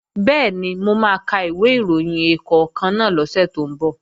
Bẹ́ẹ̀ni, mo máa ka ìwé ìròyìn ẹ̀ẹ̀kọ̀kan náà lọ́sẹ̀ tó ń bọ̀